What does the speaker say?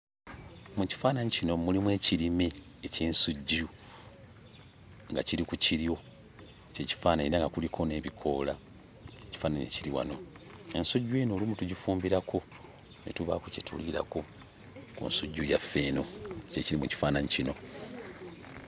Mu kifaananyi kino mulimu ekirime eky'ensujju nga kiri ku kiryo, ky'ekifaananyi era nga kuliko n'ebikoola, ekifaananyi ekiri wano. Ensujju eno olumu tugifumbirako ne tubaako kye tuliirako ku nsujju yaffe eno. Ky'ekiri mu kifaananyi kino.